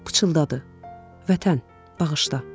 Pıçıldadı: Vətən, bağışla.